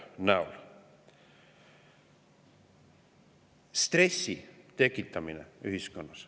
stressi tekitamine ühiskonnas.